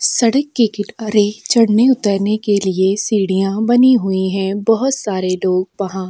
सड़क के किनारे चढ़ने-उतरने के लिए सीढ़ियां बनी हुईं हैं बहौत सारे लोग वहाँ --